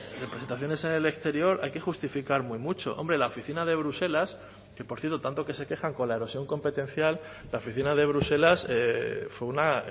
representaciones en el exterior hay que justificar muy mucho hombre la oficina de bruselas que por cierto tanto que se quejan con la erosión competencial la oficina de bruselas fue una